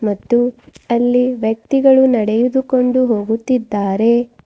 ಮತ್ತು ಅಲ್ಲಿ ವ್ಯಕ್ತಿಗಳು ನಡೆಯುದುಕೊಂಡು ಹೋಗುತ್ತಿದ್ದಾರೆ.